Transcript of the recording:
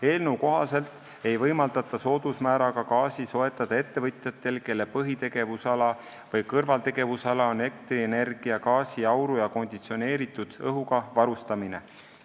Eelnõu kohaselt ei võimaldata soodusmääraga gaasi soetada ettevõtjatel, kelle põhitegevusala või kõrvaltegevusala on elektrienergia, gaasi, auru ja konditsioneeritud õhuga varustamine.